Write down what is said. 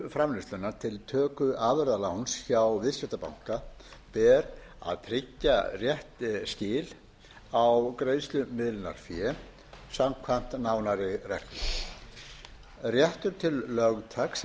framleiðslunnar til töku afurðaláns hjá viðskiptabanka ber að tryggja rétt skil á greiðslumiðlunarfé samkvæmt nánari reglum réttur til lögtaks eða